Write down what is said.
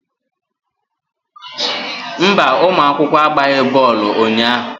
Mba, ụmụ akwụkwọ agbaghị bọọlụ unyaahụ.